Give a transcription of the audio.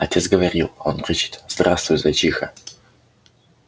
отец говорил он кричит здравствуй зайчиха